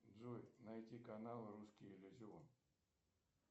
джой найти канал русский иллюзион